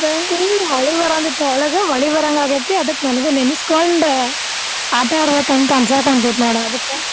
ಇಲ್ಲಿ ಮಳಿ ಬರಾತದ, ಮಳಿ ಬರಂಗ ಆಗೇತಿ ನನಗು ನೆನಸ್ಕೊಂಡ್ ಆಟಾ ಆಡ್ಬೇಕ್ ಅಂತ ಅನ್ಸಕುಂತೇತಿ ನೋಡ್ ಅದಕ್ಕ್.